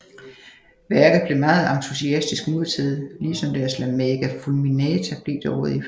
Værket blev meget entusiastisk modtaget lige som deres La Maga fulminata blev det året efter